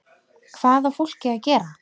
Hvað á fólkið að gera?